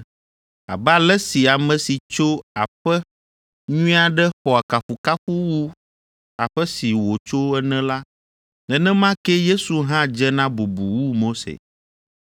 Abe ale si ame si tso aƒe nyui aɖe xɔa kafukafu wu aƒe si wòtso ene la, nenema kee Yesu hã dze na bubu wu Mose.